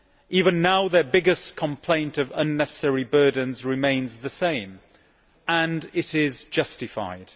Even now their biggest complaint of unnecessary burdens remains the same and it is justified.